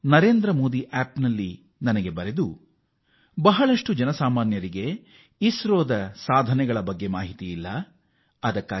Narendra Modi app ನಲ್ಲಿ ಶೋಭಾ ಜಲನ್ ಎಂಬುವವರು ಹಲವರಿಗೆ ಇಸ್ರೋದ ಸಾಧನೆಯ ಬಗ್ಗೆ ತಿಳಿದಿಲ್ಲ ಎಂದು ಬರೆದಿದ್ದಾರೆ